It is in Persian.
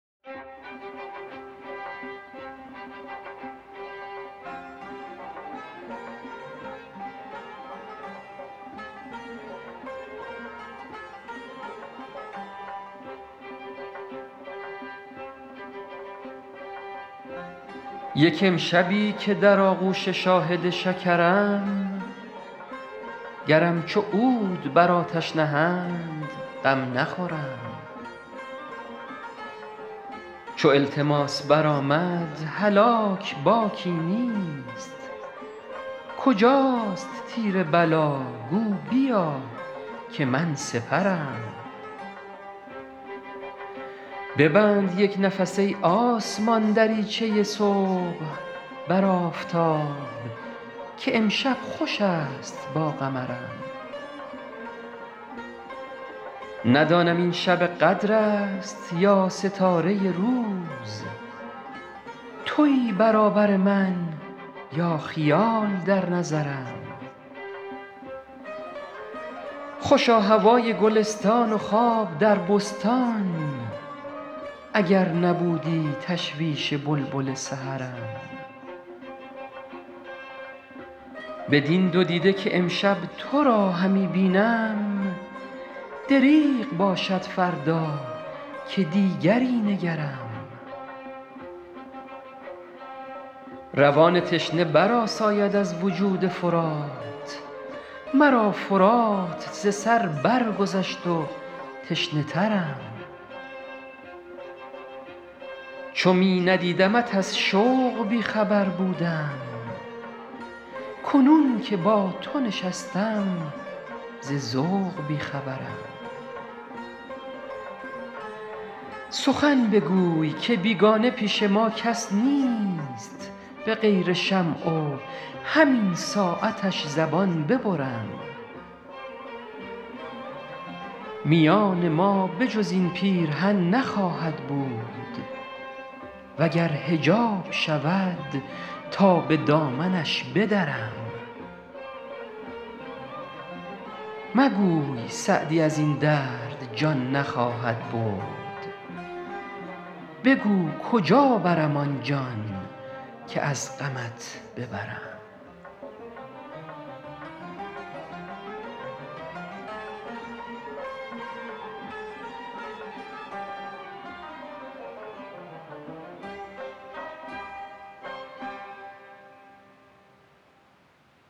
یک امشبی که در آغوش شاهد شکرم گرم چو عود بر آتش نهند غم نخورم چو التماس برآمد هلاک باکی نیست کجاست تیر بلا گو بیا که من سپرم ببند یک نفس ای آسمان دریچه صبح بر آفتاب که امشب خوش است با قمرم ندانم این شب قدر است یا ستاره روز تویی برابر من یا خیال در نظرم خوشا هوای گلستان و خواب در بستان اگر نبودی تشویش بلبل سحرم بدین دو دیده که امشب تو را همی بینم دریغ باشد فردا که دیگری نگرم روان تشنه برآساید از وجود فرات مرا فرات ز سر برگذشت و تشنه ترم چو می ندیدمت از شوق بی خبر بودم کنون که با تو نشستم ز ذوق بی خبرم سخن بگوی که بیگانه پیش ما کس نیست به غیر شمع و همین ساعتش زبان ببرم میان ما به جز این پیرهن نخواهد بود و گر حجاب شود تا به دامنش بدرم مگوی سعدی از این درد جان نخواهد برد بگو کجا برم آن جان که از غمت ببرم